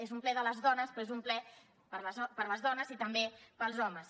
és un ple de les dones però és un ple per a les dones i també per als homes